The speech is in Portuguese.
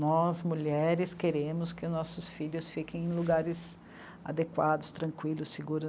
Nós, mulheres, queremos que nossos filhos fiquem em lugares adequados, tranquilos, seguro